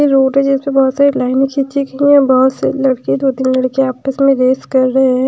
Road है जिसपे बहुत सारी लाइनें खींची गई हैं बहुत सारे लड़के दो-तीन लड़के आपस में रेस कर रहे हैं।